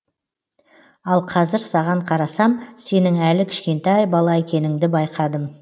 ал қазір саған қарасам сенің әлі кішкентай бала екеніңді байқадым